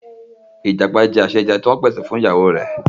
Ìjàpá jẹ àsèje ti wọ́n pè sè fún ìyàwó rè